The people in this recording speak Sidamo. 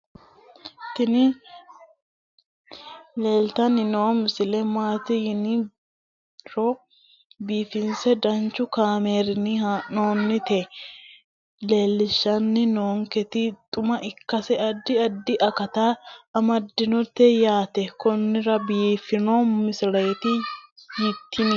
tini leeltanni noo misile maaati yiniro biifinse danchu kaamerinni haa'noonnita leellishshanni nonketi xuma ikkase addi addi akata amadaseeti yaate konnira biiffanno misileeti tini